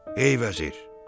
Ey vəzir!